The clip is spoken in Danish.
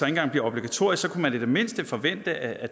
engang bliver obligatorisk så kunne man da i det mindste forvente at